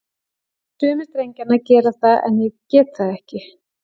Sumir drengjanna gera það, en ég get það ekki.